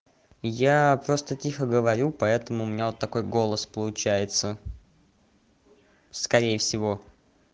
я просто тихо говорю поэтому меня вот такой голос получается скорее всего